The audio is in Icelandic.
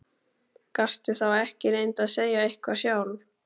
Gastu þá ekki reynt að segja eitthvað sjálf?